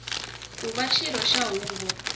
ku va xirho xa huvo